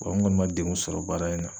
Wa n kɔni ma degun sɔrɔ baara in na.